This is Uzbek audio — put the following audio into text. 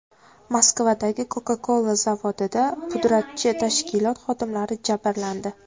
Moskvadagi Coca-Cola zavodida pudratchi tashkilot xodimlari jabrlandi.